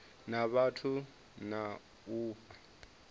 na vhathu na u fha